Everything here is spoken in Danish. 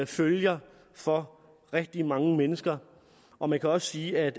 følger for rigtig mange mennesker og man kan også sige at